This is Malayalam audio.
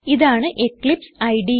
ഇതാണ് എക്ലിപ്സ് ഇടെ